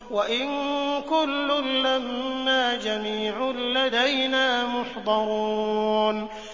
وَإِن كُلٌّ لَّمَّا جَمِيعٌ لَّدَيْنَا مُحْضَرُونَ